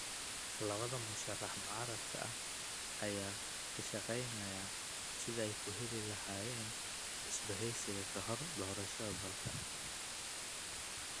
Labada musharrax mucaaradka ah ayaaka shaqeynaya sidii aykuheli lahaayeen isbaheysi kahor doorashada dalka.